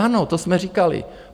Ano, to jsme říkali.